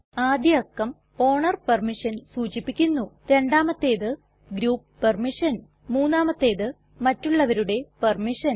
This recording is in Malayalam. ആദ്യ അക്കം ഓണർ പെർമിഷൻ സൂചിപ്പിക്കുന്നു രണ്ടാമത്തേത് ഗ്രൂപ്പ് പെർമിഷൻ മൂന്നാമത്തേത് മറ്റുള്ളവരുടെ പെർമിഷൻ